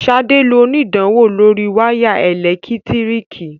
Sade ló onidanwo lórí waya elekitiriki.